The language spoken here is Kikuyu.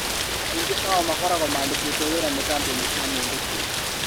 Aingĩ ao makoragwo maandĩkĩtwo wĩra nĩ kambuni cia mũndũ kĩũmbe